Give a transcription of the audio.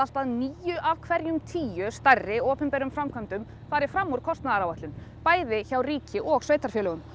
að níu af hverjum tíu stærri opinberum framkvæmdum fari fram úr kostnaðaráætlun bæði hjá ríki og sveitarfélögum